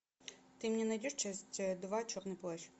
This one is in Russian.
ты мне найдешь часть два черный плащ